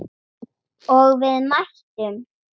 Og við mættum.